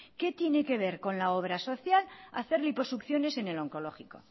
qué tiene que ver con la obra social hacer liposucciones en el oncológico